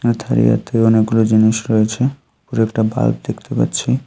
এখানে তারিয়াতে অনেকগুলো জিনিস রয়েছে উপরে একটা বাল্ব দেখতে পাচ্ছি।